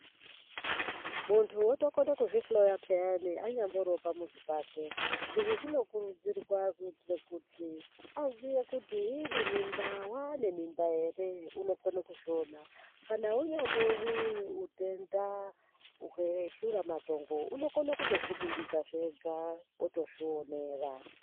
Muntu wotokone kuzvihloya pheyani anyamboriwo pamuzi pake. Izvi zvinokurudzirwa kuitire kuti, aziye kuti iri mimba waane mimba ere, unokone kuzviona. Kana unyambori utenda hweshuramatongo unokone kutozviringidzazve ega otozvionera.